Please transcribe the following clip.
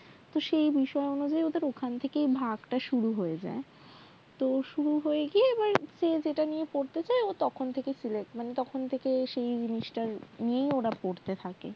তো সেই বিষয় অনুযায়ী ওদের ওই ভাগ টা শুরু হয়ে যায় শুরু হয়ে গিয়ে সেই তখন থেকে তাদের সেই বিষয় টা নিয়ে পড়াশোনা শুরু হয়ে যায়